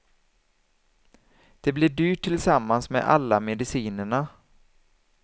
Det blir dyrt tillsammans med alla medicinerna.